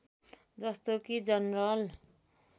जस्तो कि जनरल